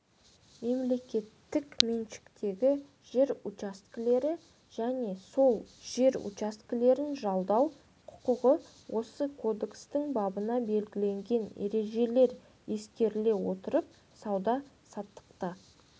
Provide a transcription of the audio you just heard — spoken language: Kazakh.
мемлекеттік меншіктегі жер учаскелері және сол жер учаскелерін жалдау құқығы осы кодекстің бабында белгіленген ережелер ескеріле отырып сауда-саттықта